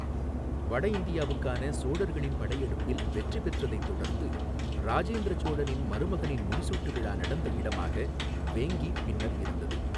வட இந்தியாவுக்கான சோழர்களின் படையெடுப்பில் வெற்றி பெற்றதைத் தொடர்ந்து, ராஜேந்திர சோழனின் மருமகனின் முடிசூட்டு விழா நடந்த இடமாக வேங்கி பின்னர் இருந்தது.